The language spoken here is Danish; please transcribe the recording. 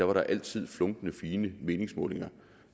var der altid funklende fine meningsmålinger